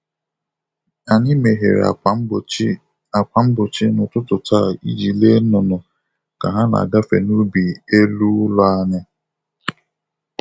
Anyị meghere ákwà mgbochi ákwà mgbochi n'ụtụtụ taa iji lee nnụnụ ka ha na-agafe n'ubi élú ụlọ anyị.